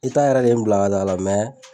yɛrɛ de ye n bila kan'a la